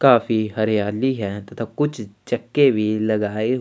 काफी हरियाली है तथा कुछ छक्के भी लगाए।